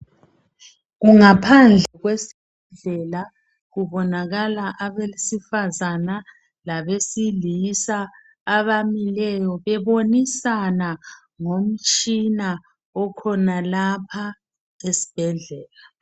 Kungaphandle kwesibhedlela kubonakala abesifazana labesilisa abamileyo bebonisana ngomtshina okhonalapha esibhedlela.